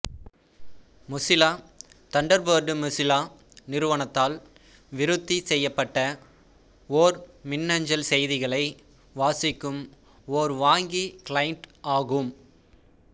Mozilla Thunderbird Mozilla நிறுவனத்தால் விருத்தி செய்யப்பட்ட ஓர் மின்னஞ்சல் செய்திகளை வாசிக்கும் ஓர் வாங்கி கிளையண்ட் ஆகும்